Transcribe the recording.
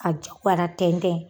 Ka jowara tɛntɛn